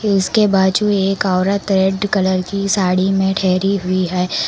इसके बाजू एक औरत रेड कलर की साड़ी में ठहरी हुई है।